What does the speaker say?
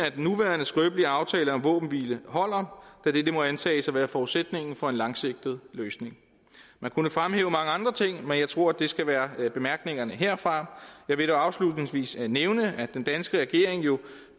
at den nuværende skrøbelige aftale om våbenhvile holder da dette må antages at være forudsætningen for en langsigtet løsning man kunne fremhæve mange andre ting men jeg tror at det skal være bemærkningerne herfra jeg vil dog afslutningsvis nævne at den danske regering jo